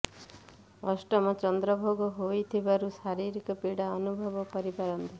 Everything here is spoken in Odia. ଅଷ୍ଟମ ଚନ୍ଦ୍ର ଭୋଗ ହେଉଥିବାରୁ ଶାରୀରିକ ପୀଡ଼ା ଅନୁଭବ କରିପାରନ୍ତି